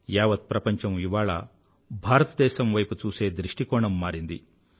యావత్ ప్రపంచం ఇవాళ భారతదేశం వైపు చూసే దృష్టికోణం మారింది